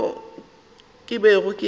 mokgwa wo ke bego ke